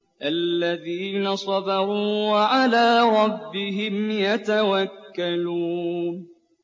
الَّذِينَ صَبَرُوا وَعَلَىٰ رَبِّهِمْ يَتَوَكَّلُونَ